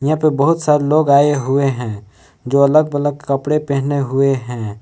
यहां पे बहुत सारे लोग आए हुए हैं जो अलग अलग कपड़े पहने हुए हैं।